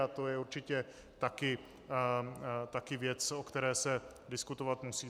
A to je určitě také věc, o které se diskutovat musí.